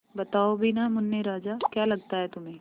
बताओ भी न मुन्ने राजा क्या लगता है तुम्हें